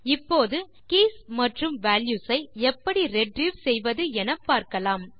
இப்போது கீஸ் மற்றும் வால்யூஸ் ஐ எப்படி ரிட்ரீவ் செய்வது என பார்க்கலாம்